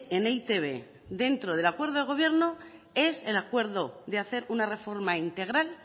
en e i te be dentro del acuerdo de gobierno es en acuerdo de hacer una reforma integral